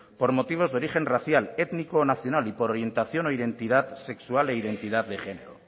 por motivos de origen racial étnico o nacional y por orientación o identidad sexual e identidad de género